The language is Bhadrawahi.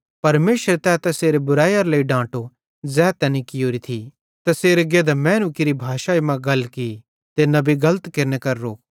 परमेशरे तै तैसेरे बुरैइारे लेइ डांटो ज़ै तैनी कियोरी थी तैसेरे गेधां मैनू केरि भाषाई मां गल की ते नबी गलत केरने करां रोको